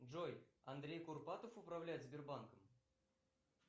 джой андрей курпатов управляет сбербанком